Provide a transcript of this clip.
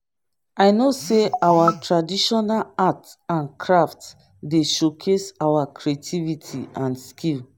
i know say our traditional arts and craft dey showcase our creativity and skill